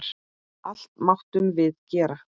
Allt máttum við gera.